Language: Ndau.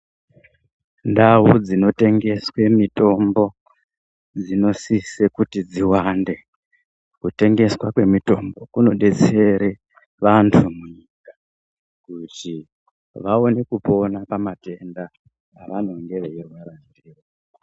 Ndau dzinotengeswe mitombo dzinosise kuti dziwande, kutengeswa kwemitombo kunodetsere vantu munyika kuti vawone kupona pamatenda avanonga veyirwara ndiwo.